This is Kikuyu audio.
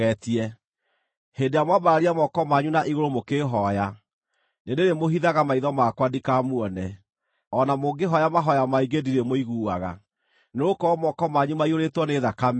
Hĩndĩ ĩrĩa mwambararia moko manyu na igũrũ mũkĩhooya, nĩndĩrĩmũhithaga maitho makwa ndikamuone; o na mũngĩhooya mahooya maingĩ ndirĩmũiguaga. Nĩgũkorwo moko manyu maiyũrĩtwo nĩ thakame;